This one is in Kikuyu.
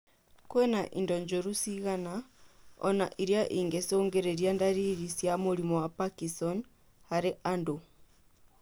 Kwĩna indo njũru cigana ona na irĩa ingĩcũngĩrĩria ndariri cia mũrimũ wa Parkison harĩ andũ